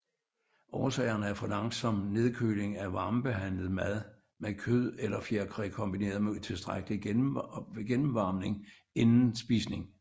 Årsagerne er for langsom nedkøling af varmebehandlet mad med kød eller fjerkræ kombineret med utilstrækkelig gennemvarmning inden spisning